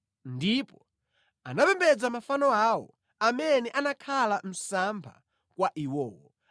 Ndipo anapembedza mafano awo, amene anakhala msampha kwa iwowo.